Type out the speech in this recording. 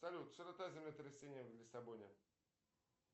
салют широта землетрясения в лиссабоне